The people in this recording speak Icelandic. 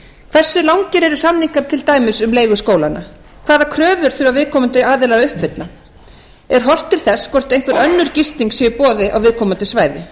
hversu langir eru samningar til dæmis um leigu skólanna hvaða kröfur þurfa viðkomandi aðilar að uppfylla er horft til þess hvort einhver önnur gisting sé í boði á viðkomandi svæði